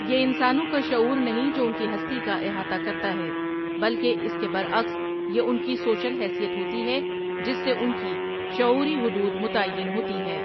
یہ انسانوں کا شعور نہیں جو ان کی ہستی کااحاطہ کرتا ہے بلکہ اس کے برعکس یہ ان کی سوشل حثییت ہوتی ہے جس سے ان کی شعوری حدود متعین ہوتی ہے ۔